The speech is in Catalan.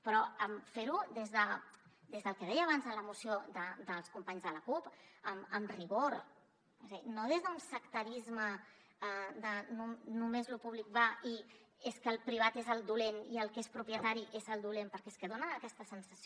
però fer ho des del que deia abans en la moció dels companys de la cup amb rigor o sigui no des d’un sectarisme de només lo públic va i és que el privat és el dolent i el que és propietari és el dolent perquè és que fa aquesta sensació